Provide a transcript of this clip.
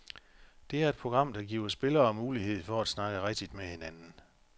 Det er et program der giver spillere mulighed for at snakke rigtigt med hinanden.